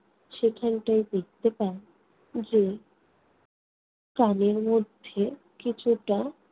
সেখানটায় দেখতে পান যে কানের মধ্যে কিছুটা